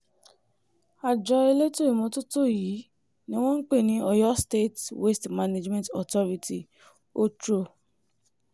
àjọ elétò ìmọ́tótó yìí ni wọ́n ń pè ní oyo state waste management authority otro